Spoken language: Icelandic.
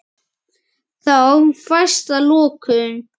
Þá fæst að lokum